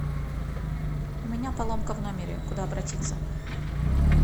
у меня поломка в номере куда обратиться